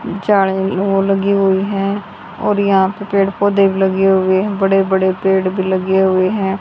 लगी हुई है और यहां पर पेड़ पौधे लगे हुए हैं लगे हुए बड़े बड़े पेड़ भी लगे हुए हैं।